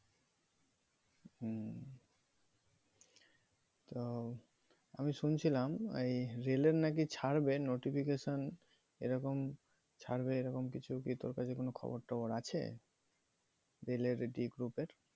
হম তো আমি শুনছিলাম এই রেলের নাকি ছাড়বে notification এরকম ছাড়বে এরকম কিছু কি তোর কাছে কোনো খবর টবর আছে? রেলের group এ